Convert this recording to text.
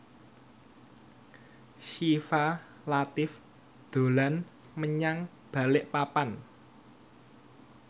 Syifa Latief dolan menyang Balikpapan